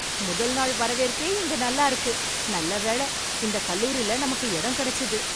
முதல் நாள் வரவேற்பே இங்க நல்லா இருக்கு. நல்ல வேள இந்த கல்லூரில நமக்கு இடம் கிடைச்சுது.